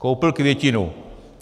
Koupil květinu.